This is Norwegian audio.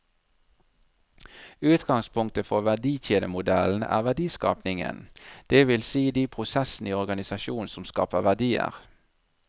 Utgangspunktet for verdikjedemodellen er verdiskapingen, det vil si de prosessene i organisasjonen som skaper verdier.